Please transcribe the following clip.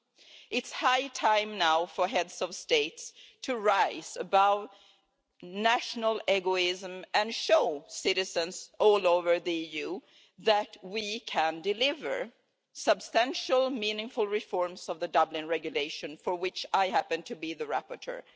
It is now high time for Heads of State to rise above national egoism and show citizens all over the EU that we can deliver substantial, meaningful reforms of the Dublin Regulation, for which I happen to be the rapporteur.